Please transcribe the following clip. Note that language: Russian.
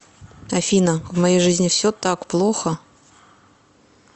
афина в моей жизни все так плохо